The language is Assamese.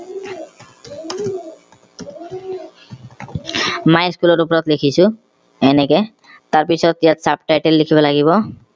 my school ৰ ওপৰত লিখিছো এনেকে তাৰ পিছত ইয়াত sub title লিখিব লাগিব